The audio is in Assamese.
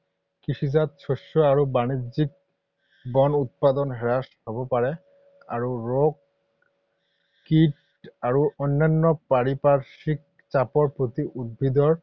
কৃষিজাত শস্য আৰু বাণিজ্যিক বন উৎপাদন হ্ৰাস হ’ব পাৰে। আৰু ৰোগ, কীট আৰু অন্যান্য পাৰিপাৰ্শ্বিক চাপৰ প্ৰতি উদ্ভিদৰ